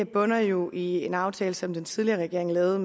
bunder jo i en aftale som den tidligere regering lavede